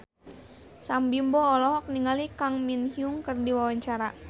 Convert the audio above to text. Sam Bimbo olohok ningali Kang Min Hyuk keur diwawancara